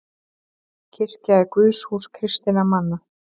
Kirkja er guðshús kristinna manna.